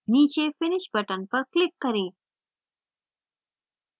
नीचे finish button पर click करें